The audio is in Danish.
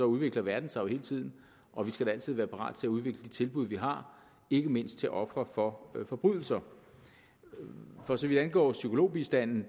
udvikler verden sig jo hele tiden og vi skal da altid være parat til at udvikle de tilbud vi har ikke mindst til ofre for forbrydelser for så vidt angår psykologbistanden